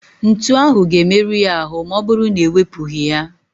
Ntu ahụ ga-emerụ ya ahụ maọbụrụ na ewepụghị ya.